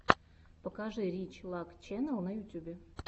покажи рич лак ченнал на ютюбе